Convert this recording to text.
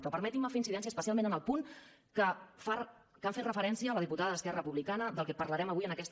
però permetin me fer incidència especialment en el punt a què han fet referència la diputada d’esquerra republicana del que parlarem avui en aquesta